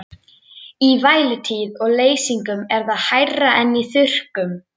Í vætutíð og leysingum er það hærra en í þurrkum.